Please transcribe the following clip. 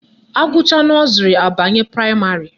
Agụchaa nọzrị abanye praịmarị